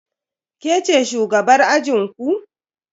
Ke ce shugabar ajinku?